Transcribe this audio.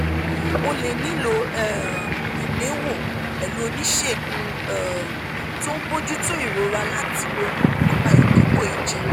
o lè nílò um ìgbéwò pẹ̀lú oníṣègùn um tó ń bójú tó ìrora láti ronú nípa ìdìbò ìjẹ